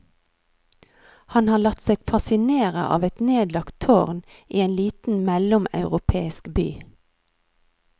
Han har latt seg fascinere av et nedlagt tårn i en liten mellomeuropeisk by.